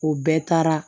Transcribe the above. O bɛɛ taara